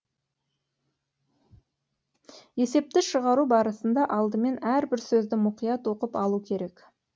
есепті шығару барысында алдымен әрбір сөзді мұқият оқып алу керек